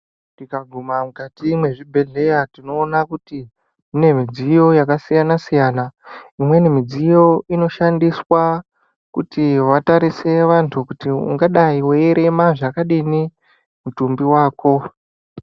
Tikaguma mukati mwezvibhedhleya tinoona kuti mune midziyo yakasiyana siyana unweni midziyo unoshandiswa kuti vatarise vandu kuti ungadayi weyirema zvakadini mutumbi wako.